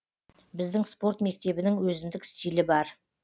біздің спорт мектебінің өзіндік стилі бар